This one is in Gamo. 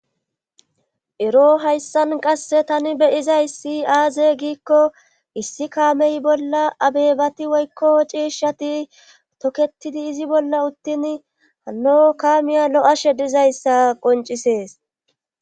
ero hayssan qasse tani beyizay si aaze giikko issi kaamey bolla abebati woykko ciishshati toketidi izi bolla uttin hano kaamiya lo7ashe dizayssa qoncisees